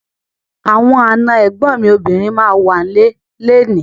Àwọn àna ẹ̀gbọ́n mi obìnrin ma wà ń lé léèní.